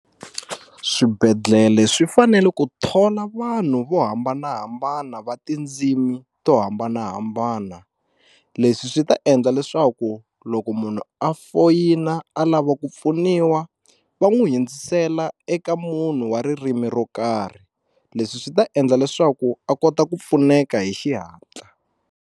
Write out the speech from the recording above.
Swibedhlele swi fanele ku thola vanhu vo hambanahambana va tindzimi to hambanahambana leswi swi ta endla leswaku loko munhu a foyina a lava ku pfuniwa va n'wi hundzisela eka munhu wa ririmi ro karhi leswi swi ta endla leswaku a kota ku pfuneka hi xihatla.